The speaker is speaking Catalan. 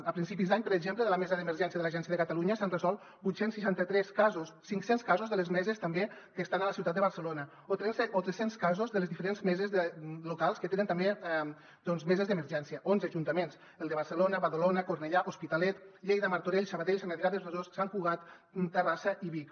a principis d’any per exemple de la mesa d’emergència de l’agència de catalunya s’han resolt vuit cents i seixanta tres casos cinc cents casos de les meses també que estan a la ciutat de barcelona o tres cents casos de les diferents meses locals que tenen també meses d’emergència onze ajuntaments el de barcelona badalona cornellà l’hospitalet lleida martorell sabadell sant adrià del besòs sant cugat terrassa i vic